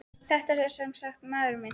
Þetta er sem sagt maðurinn minn.